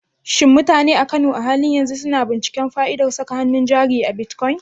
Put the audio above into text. Shin mutane a Kano a halin yanzu suna binciken fa'idar saka hannun jari a bitcoin?